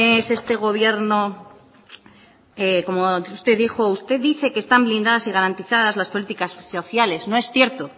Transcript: es este gobierno como usted dijo usted dice que están blindadas y garantizadas las políticas sociales no es cierto